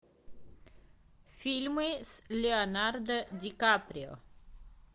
фильмы с леонардо ди каприо